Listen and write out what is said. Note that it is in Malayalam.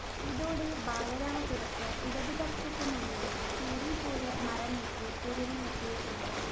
ഇതോടെ ബാലരാമപുരത്ത് ഇടതുപക്ഷത്തിനുള്ളിലെ ചേരി പോര് മറനീക്കി തെരുവിലെത്തിയിട്ടുണ്ട